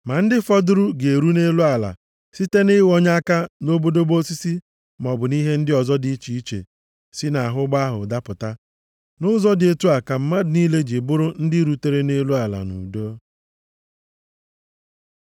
Ma ndị fọdụrụ ga-eru nʼelu ala site nʼịghọnye aka na obodobo osisi maọbụ nʼihe ndị ọzọ dị iche iche si nʼahụ ụgbọ ahụ dapụta. Nʼụzọ dị otu ka mmadụ niile ji bụrụ ndị rutere nʼelu ala nʼudo.